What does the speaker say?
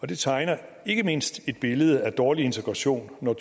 det tegner ikke mindst et billede af dårlig integration når